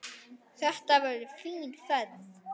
Þetta verður fín ferð.